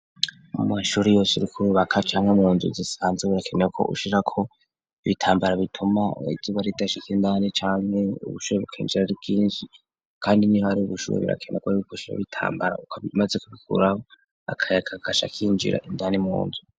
Mu mashuri yose uriko urubaka canke mu nzu zisanze birakeneweko ushirako ibitambara bituma izuba ridashika indani cane ubushuhe bukinjira aribwinshi kandi niho hari ubushuhe birakenegwa yuko ushiraho ibitambaro ukaba umaze kubikuraho akayaga kaca kwinjira indani munzu.